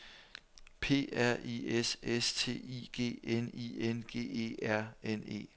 P R I S S T I G N I N G E R N E